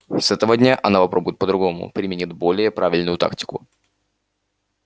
с этого дня она попробует по-другому применит более правильную тактику